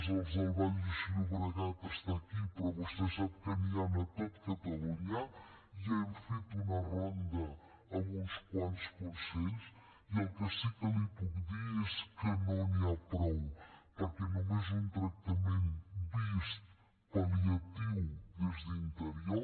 els del baix llobregat estan aquí però vostè sap que n’hi han a tot catalunya i ja hem fet una ronda amb uns quants consells i el que sí que li puc dir és que no n’hi ha prou perquè només un tractament vist pal·liatiu des d’interior